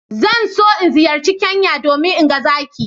Zan so in ziyarci Kenya domin in ga zaki